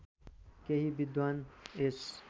केही विद्वान् यस